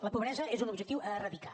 la pobresa és un objectiu a eradicar